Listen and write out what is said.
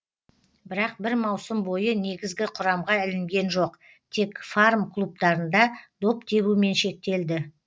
бірақ бір маусым бойы негізгі құрамға ілінген жоқ тек фарм клубтарында доп тебумен шектелді